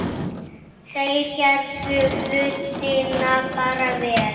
Þeir gerðu hlutina bara vel.